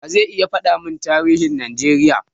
Wa ze iya faɗa mun tarihin Najeriya?